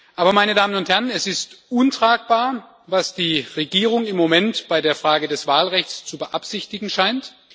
Aber es ist untragbar, was die Regierung im Moment bei der Frage des Wahlrechts zu beabsichtigen scheint.